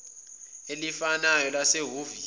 elifanayo lase hhovisi